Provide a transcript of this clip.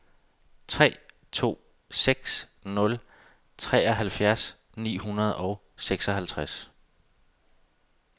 tre to seks nul treoghalvfjerds ni hundrede og seksoghalvtreds